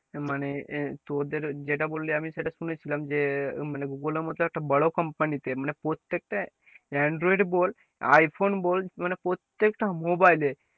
মানে আহ তোদের যেটা বললি আমি সেটা শুনেছিলাম যে মানে google এর মত একটা বড় company তে মানে প্রত্যেকটা android বল iphone বল মানে প্রত্যেকটা mobile এ,